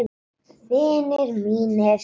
Vinir mínir.